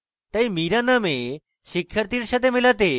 তাই mira name শিক্ষার্থীর সাথে মেলাতে